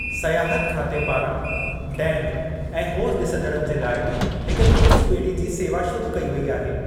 सयाहत खाते पारां डैम ऐं होज़ु डि॒संदड़नि जे लाइ हिकु क्रूज़ बे॒ड़ी जी सेवा शुरु कयी वेई आहे ।